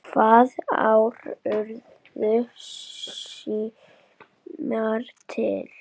Hvaða ár urðu símar til?